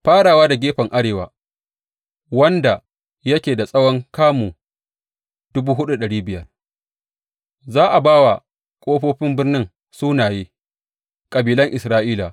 Farawa da gefen arewa, wanda yake da tsawon kamu dubu hudu da dari biyar za a ba wa ƙofofin birnin sunaye kabilan Isra’ila.